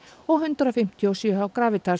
og hundrað fimmtíu og sjö hjá